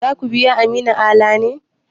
Za ku biya Aminu Ala ne?